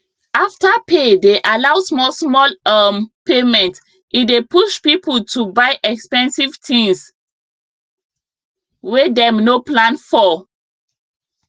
afterpay dey allow small small um payment e dey push people to buy expensive things wey dem no plan for